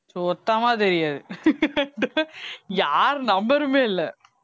சுத்தமா தெரியாது யார் number மே இல்லை